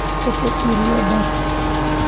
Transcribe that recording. Ka tag erayadaas